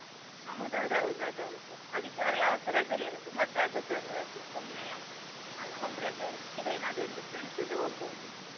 ಹೌದು ಅದು ಹೌದು ಅದು ಹೌದು. ಆದಿತ್ಯವಾರ ಯಾವತ್ತೂ ರಜೆನೆ ಇರೋದು ಮತ್ತೆ ಅದುಸಾ ಒಂದು ರಜೆ ಸುಮ್ನೆ ಯಾಕೆ. ಒಂದು ರಜೆ ಸಿಕ್ಕಿದ್ರೆ ಏನಾದ್ರು ಒಂದು friends ಜೊತೆ ಹೋಗ್ಬಹುದು.